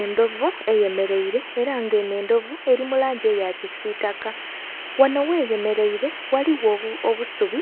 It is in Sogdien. Endhovu eyemereire era nga eno endhovu eri mulangi eya kisitaka wano gh'eyemereire ghaligho obusubi